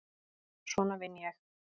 Svona vinn ég.